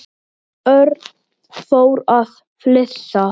Örn fór að flissa.